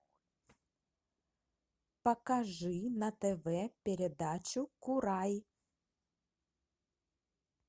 покажи на тв передачу курай